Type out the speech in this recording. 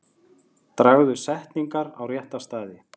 Dragðu setningar á rétta staði.